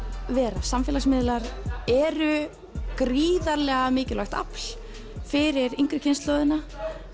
vera samfélagsmiðlar eru gríðarlega mikilvægt afl fyrir yngri kynslóðina